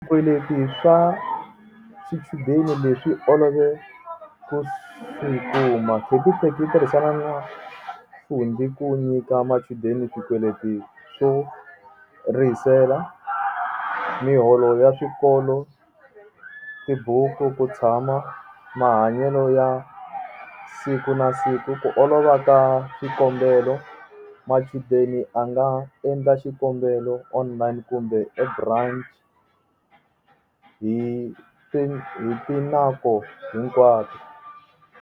Swikweleti swa swichudeni leswi olove ku sukuma capitec yi tirhisana na Fundi ku nyika machudeni swikweleti swo rihisela, miholo ya swikolo tibuku ku tshama mahanyelo ya siku na siku ku olova ka xikombelo machudeni a nga endla xikombelo online kumbe hi tinaku hinkwato.